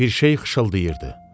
Bir şey xışıldayırdı.